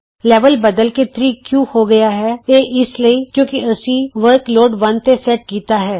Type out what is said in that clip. level ਬਦਲ ਕੇ 3 ਕਿਉਂ ਹੋ ਗਿਆ ਹੈ ਇਹ ਇਸ ਲਈ ਕਿਉਂਕਿ ਅਸੀਂ ਵਰਕਲੋਡ 1 ਤੇ ਸੇਟ ਕੀਤਾ ਹੈ